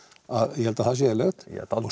ég held að það sé eðlilegt